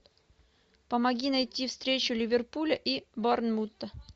помоги найти встречу ливерпуля и борнмута